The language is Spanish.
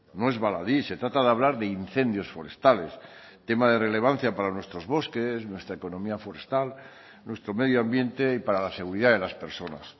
no es baladí se trata de hablar de incendios forestales tema de relevancia para nuestros bosques nuestra economía forestal nuestro medio ambiente y para la seguridad de las personas